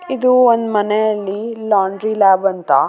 ವೈಟದಲ್ಲೆ ಬರದಾರ blue colour ಐತೆ ನನಗ್‌ ಕಾಣಸ್ತಾ ಇರೊದು ಅಸ್ಟೆ ಕಾಣ್ಸಕತ್ತದ ನನಗ್‌ .